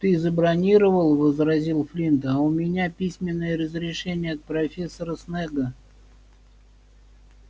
ты забронировал возразил флинт а у меня письменное разрешение от профессора снегга